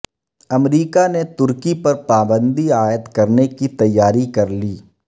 امریکا نے ترکی پر پابندی عائد کرنے کی تیاری کرلی